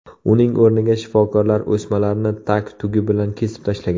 Uning o‘rniga shifokorlar o‘smalarni tag-tugi bilan kesib tashlagan.